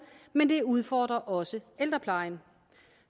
men det udfordrer også ældreplejen